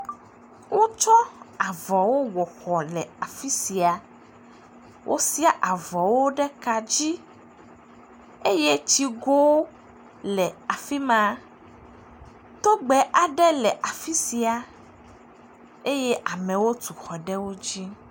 Wotsɔ avɔwo wɔ xɔ le afi sia. Wosia avɔwo ɖe ka dzi eye tsigo le afi ma. Togbe aɖe le afi sia eye amewo tu xɔ ɖe wo dzi.